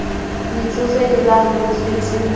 metsofe le ba holofetseng ba